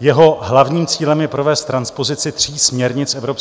Jeho hlavním cílem je provést transpozici tří směrnic EU